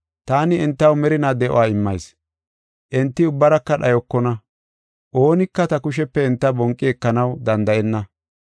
Taani entaw merinaa de7uwa immayis; enti ubbaraka dhayokona. Oonika ta kushepe enta bonqi ekanaw danda7enna.